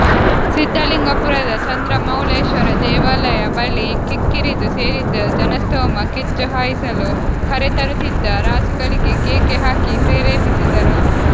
ಸಿದ್ದಲಿಂಗಪುರದ ಚಂದ್ರ ಮೌಳೇಶ್ವರ ದೇವಾಲಯ ಬಳಿ ಕಿಕ್ಕಿರಿದು ಸೇರಿದ್ದ ಜನಸ್ತೋಮ ಕಿಚ್ಚು ಹಾಯಿಸಲು ಕರೆತರುತ್ತಿದ್ದ ರಾಸುಗಳಿಗೆ ಕೇಕೆ ಹಾಕಿ ಪ್ರೇರೇಪಿಸಿದರು